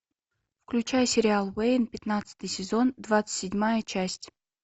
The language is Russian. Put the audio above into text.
включай сериал уэйн пятнадцатый сезон двадцать седьмая часть